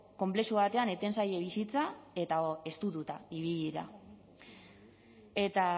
konplexu batean eten zaie bizitza eta estututa ibili dira eta